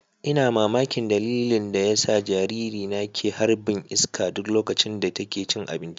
Ina mamakin dalilin da yasa jaririna ke harɓin iska duk loƙacin da taƙe cin aɓinci.